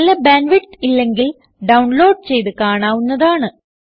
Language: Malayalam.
നല്ല ബാൻഡ് വിഡ്ത്ത് ഇല്ലെങ്കിൽ ഡൌൺലോഡ് ചെയ്ത് കാണാവുന്നതാണ്